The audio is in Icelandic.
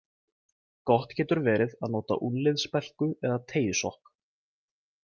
Gott getur verið að nota úlnliðsspelku eða teygjusokk.